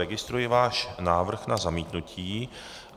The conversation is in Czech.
Registruji váš návrh na zamítnutí.